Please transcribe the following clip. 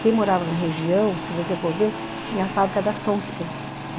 Quem morava na região, se você for ver, tinha a fábrica da Sonksen.